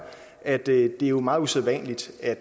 at det er meget usædvanligt at